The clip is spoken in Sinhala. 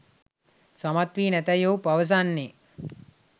සමත්වී නැතැයි ඔහු පවසන්නේ